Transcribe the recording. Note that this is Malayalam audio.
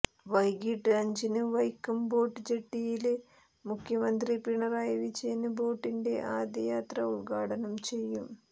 വൈകിട്ട് അഞ്ചിന് വൈക്കം ബോട്ട്ജെട്ടിയില് മുഖ്യമന്ത്രി പിണറായി വിജയന് ബോട്ടിന്റെ ആദ്യയാത്ര ഉദ്ഘാടനം ചെയ്യും